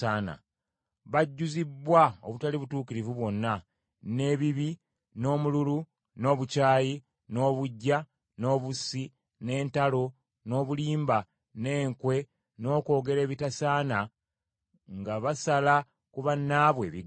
Bajjuzibbwa obutali butuukirivu bwonna, n’ebibi, n’omululu, n’obukyayi, n’obuggya, n’obussi, n’entalo, n’obulimba, n’enkwe, n’okwogera ebitasaana, nga basala ku bannaabwe ebigambo,